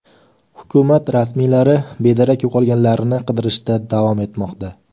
Hukumat rasmiylari bedarak yo‘qolganlarni qidirishda davom etmoqda.